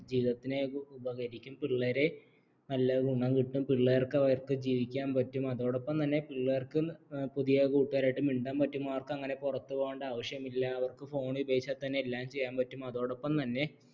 ജീവിതത്തിനേക്ക്ഉപകരിക്കും പിള്ളേരെ നല്ല ഗുണം കിട്ടും പിള്ളേർക്ക് അവർക്ക് ജീവിക്കാൻ പറ്റും അതോടൊപ്പം തന്നെ പിള്ളേർക്ക് പുതിയ കൂട്ടുകാരോട് മിണ്ടാൻ കിട്ടും അവർക്ക് അങ്ങനെ പുറത്ത് പോകേണ്ട ആവശ്യമില്ല അവർക്ക് phone ഉപയോഗിച്ചാൽ തന്നെ എല്ലാം ചെയ്യാൻ പറ്റും അതോടൊപ്പം തന്നെ